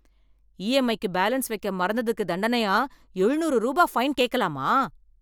இஎம்ஐக்கு balance வெக்க மறந்துதுக்கு தண்டனையா ஏழுநூறு ரூபா பைன் கேக்கலாமா?